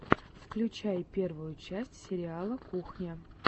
включи первую часть сериала кухня